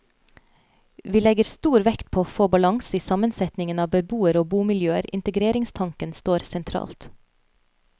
Vi legger stor vekt på å få balanse i sammensetningen av beboere og bomiljøer, integreringstanken står sentralt.